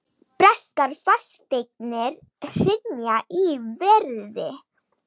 Breskar fasteignir hrynja í verði